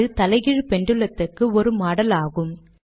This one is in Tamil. இது தலைகீழ் பெண்டுலத்துக்கு ஒரு மாடல் ஆகும்